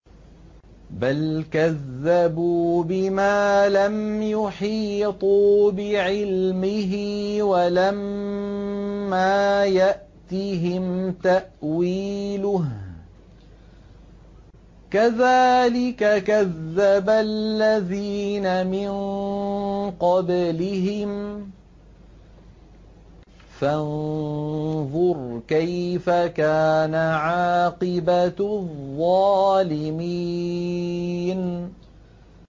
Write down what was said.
بَلْ كَذَّبُوا بِمَا لَمْ يُحِيطُوا بِعِلْمِهِ وَلَمَّا يَأْتِهِمْ تَأْوِيلُهُ ۚ كَذَٰلِكَ كَذَّبَ الَّذِينَ مِن قَبْلِهِمْ ۖ فَانظُرْ كَيْفَ كَانَ عَاقِبَةُ الظَّالِمِينَ